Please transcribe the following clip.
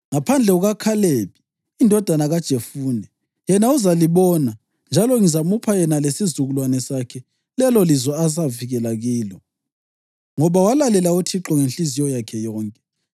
ngaphandle kukaKhalebi indodana kaJefune. Yena uzalibona, njalo ngizamupha yena lesizukulwane sakhe lelolizwe azafikela kilo, ngoba walalela uThixo ngenhliziyo yakhe yonke.’